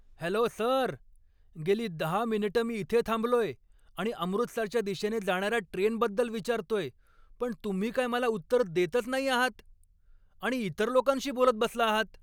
Hello sir! गेली दहा मिनिटं मी इथे थांबलोय आणि अमृतसरच्या दिशेने जाणार्या ट्रेनबद्दल विचारतोय, पण तुम्ही काय मला उत्तर देतच नाही आहात आणि इतर लोकांशी बोलत बसला आहात.